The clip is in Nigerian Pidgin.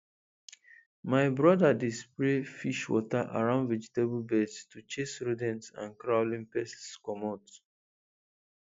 my brother dey spray fish water around vegetable beds to chase rodents and crawling pests comot